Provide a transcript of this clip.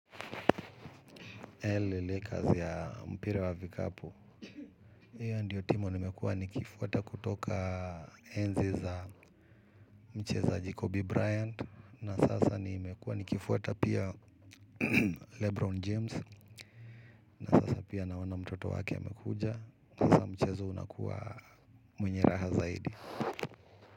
L. Lakers ya mpira wa vikapu. Hiyo ndiyo timu nimekuwa nikifuta kutoka enzi za mchezaji Kobe Bryant. Na sasa nimekua nikifuweta pia Lebron James. Na sasa pia naona mtoto wake ya amekuja. Kaanza mchezo unakuwa mwenye raha zaidi.